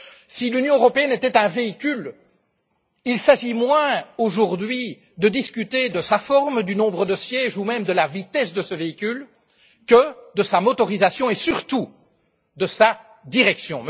Si l'Union européenne était un véhicule, il s'agirait moins aujourd'hui de discuter de sa forme, du nombre de sièges ou même de la vitesse de ce véhicule que de sa motorisation et, surtout, de sa direction.